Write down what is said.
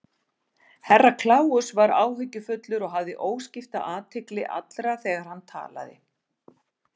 Herra Kláus var áhyggjufullur og hafði óskipta athygli allra þegar hann talaði.